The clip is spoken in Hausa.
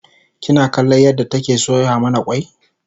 kina kallon yadda take soya mana kwai?